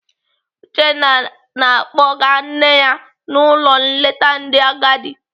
Uchenna na-akpọga nne ya n'ụlọ nleta ndị agadi.